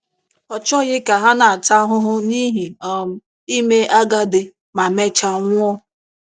Ọ chọghị ka ha na-ata ahụhụ n’ihi um ime agadi ma mechaa nwụọ.